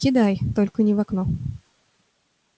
кидай только не в окно